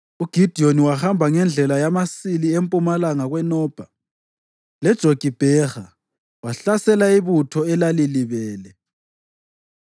UGidiyoni wahamba ngendlela yamasili empumalanga kweNobha leJogibheha wahlasela ibutho elalilibele.